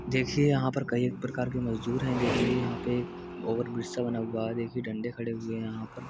देखिये यहाँ पर कई प्रकार के मजदूर है। देखिये यहाँ पे ओवरब्रिज सा बना हुआ है। देखिये डंडे खड़े हुए है यहाँ पर।